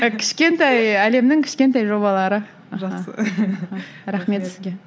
і кішкентай әлемнің кішкентай жобалары жақсы рахмет сізге